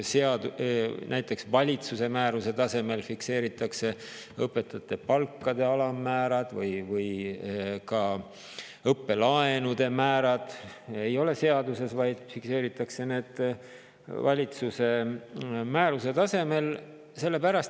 Näiteks valitsuse määruse tasemel fikseeritakse õpetajate palkade alammäärad ja ka õppelaenude määrad ei ole seaduses, vaid fikseeritakse valitsuse määruse tasemel.